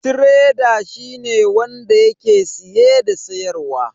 Tireda shine wanda yake siye da siyarwa.